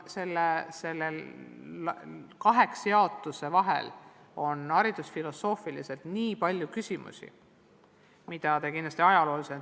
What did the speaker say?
Kaheks jaotuse vahel on haridusfilosoofiliselt väga palju küsimusi, mida te ajaloolasena kindlasti teate.